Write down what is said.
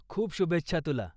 खूप शुभेच्छा तुला.